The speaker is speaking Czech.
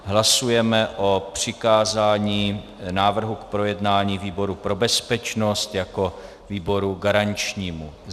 Hlasujeme o přikázání návrhu k projednání výboru pro bezpečnost jako výboru garančnímu.